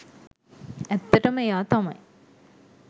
ඇත්තටම එයා තමයි